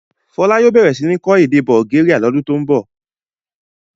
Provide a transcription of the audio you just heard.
Fọlá yóò bẹ̀rẹ̀ sí ní kọ́ èdè Bulgaria lodun tó ń bọ̀.